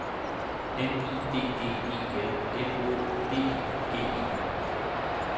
M I D D E L M Å D I G E